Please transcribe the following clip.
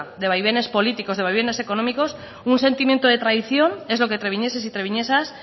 de vaivenes políticos de vaivenes económicos un sentimiento de traición es lo que treviñeses y treviñesas